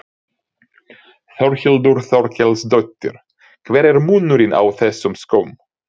Þórhildur Þorkelsdóttir: Hver er munurinn á þessum skóm?